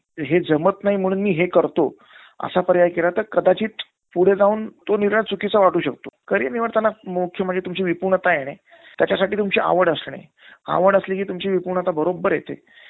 problem आढळला मंझे आता five G चा जमाना आहे ना. आता four G चा आह network घेत नाही ना बरोबर. हो. hang मारते तो. म्हणून नवीन घ्यायचा विचार केला.